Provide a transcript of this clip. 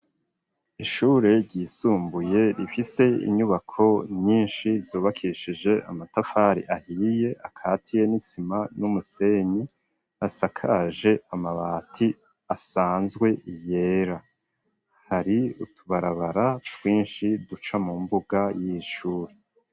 Ishure ryisumbuye rifise inyubako nyinshi, zubakishije amatafari ahiye akatiye n'isima n'umusenyi, asakaje amabati asanzwe yera; hari utubarabara twinshi, duca mu mbuga y'iri shure.